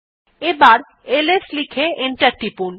এবার এলএস লিখে এন্টার টিপুন